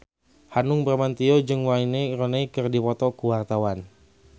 Hanung Bramantyo jeung Wayne Rooney keur dipoto ku wartawan